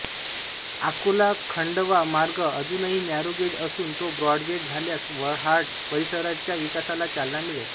अकोलाखण्डवा मार्ग अजुनही नॅरोगेज असून तो ब्रॉडगेज झाल्यास वर्हाड परीसराच्या विकासाला चालना मिळेल